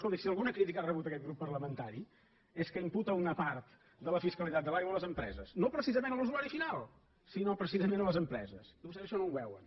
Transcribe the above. escolti si alguna crítica ha rebut aquest grup parlamentari és que imputa una part de la fiscalitat de l’aigua a les empreses no precisament a l’usuari final sinó precisament a les empreses i vostès això no ho veuen